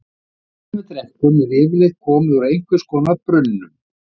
Vatnið sem við drekkum er yfirleitt komið úr einhvers konar brunnum.